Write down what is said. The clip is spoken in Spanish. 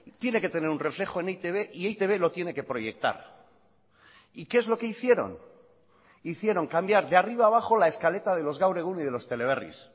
tiene que tener un reflejo en e i te be y e i te be lo tiene que proyectar y qué es lo que hicieron hicieron cambiar de arriba a abajo la escaleta de los gaur egun y de los teleberris